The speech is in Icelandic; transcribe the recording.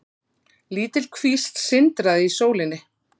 Lítil kvísl sindraði í sólinni.